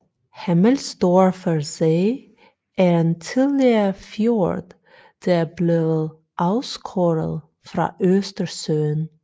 Hemmelsdorfer See er en tidligere fjord der er blevet afskåret fra Østersøen